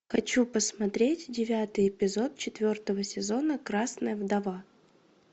хочу посмотреть девятый эпизод четвертого сезона красная вдова